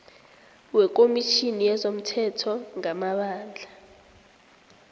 wekomitjhini yezomthetho ngamabandla